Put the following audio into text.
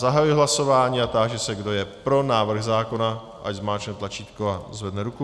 Zahajuji hlasování a táži se, kdo je pro návrh zákona, ať zmáčkne tlačítko a zvedne ruku.